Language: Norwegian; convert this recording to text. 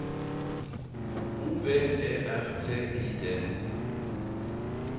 O V E R T I D